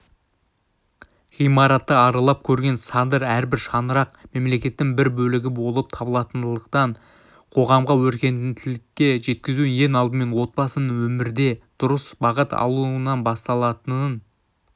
ғимаратты аралап көрген садыр әрбір шаңырақ мемлекеттің бір бөлігі болып табылатындықтан қоғамды өркениеттілікке жеткізу ең алдымен отбасының өмірде дұрыс бағыт алуынанбасталатынын